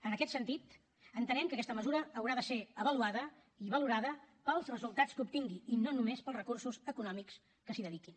en aquest sentit entenem que aquesta mesura haurà de ser avaluada i valorada pels resultats que obtingui i no només pels recursos econòmics que s’hi dediquin